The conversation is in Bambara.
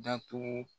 Datugu